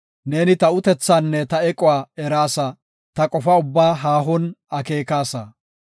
Neeni ta utethaanne ta equwa eraasa; ta qofa ubbaa haahon akeekasa.